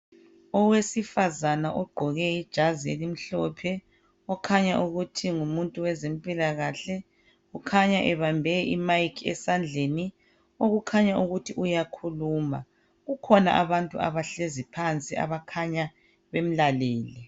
Owesifazana ogqoke ijazi elimhlophe kukhanya ukuthi ngumuntu wezempilakahle kukhanya ebambe imayikhi esandleni okukhanya ukuthi uyakhuluma kukhona abantu abahlezi phansi abakhanya bemlalele